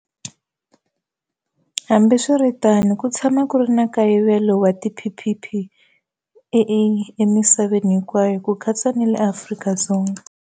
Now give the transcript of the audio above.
Hambiswiritano, ku tsha-ma ku ri na nkayivelo wa tiPPE emisaveni hinkwayo, ku katsa na le Afrika-Dzonga.